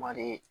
Wari